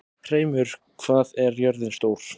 Hreimur, hvað er jörðin stór?